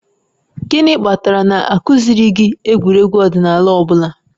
Gịnị kpatara na a kụziiri gị egwuregwu ọdịnala ọ bụla?